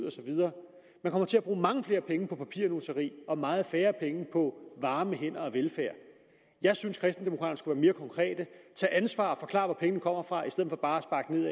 og så videre man kommer til at bruge mange flere penge på papirnusseri og meget færre penge på varme hænder og velfærd jeg synes kristendemokraterne mere konkrete tage ansvar og forklare hvor pengene kommer fra i stedet for bare